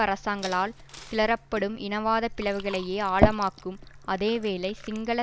அரசாங்களால் கிளறப்படும் இனவாத பிளவுகளையே ஆழமாக்கும் அதே வேளை சிங்கள